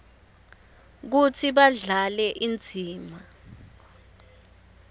kutsi badlale indzima